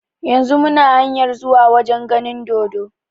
Yanzun muna hanyar zuwa wajen ganin dodo